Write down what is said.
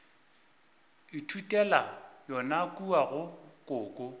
ithutela yona kua go koko